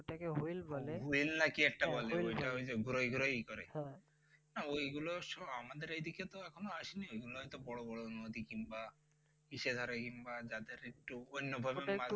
wheel না কি একটা বলে, অইটা ওই যে ঘুরোয় ঘুরোয় ইয়ে করে ওই গুলা আমাদের এদিকে তো এখনো আসে নি এগুলা হয়ত বড় বড় নদী কিংবা ফিশাঘারে কিংবা যাদের একটু অন্য ভাবে মাছ